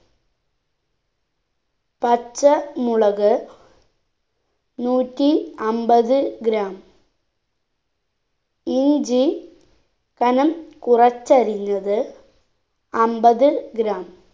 പച്ച മുളക് നൂറ്റി അമ്പത് gram ഇഞ്ചി കനം കുറച്ചരിഞ്ഞത് അമ്പത് gram